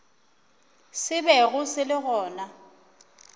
se bego se le gona